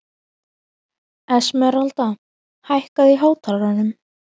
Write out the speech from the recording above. Esmeralda, hækkaðu í hátalaranum.